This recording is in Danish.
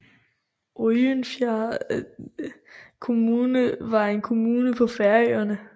Oyndarfjarðar Kommune var en kommune på Færøerne